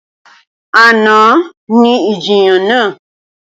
Àná ni ìjiyàn náà